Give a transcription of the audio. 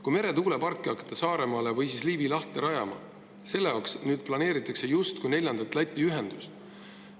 Kui meretuuleparki hakata Saaremaa lähedale või Liivi lahte rajama, siis selle jaoks planeeritakse justkui neljandat Läti ühendust.